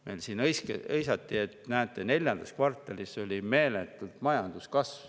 Meil siin hõisati, et näete, neljandas kvartalis oli meeletu majanduskasv.